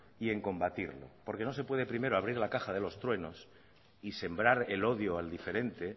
y en combatirlo porque no se puede primero abrir la caja de los truenos y sembrar el odio al diferente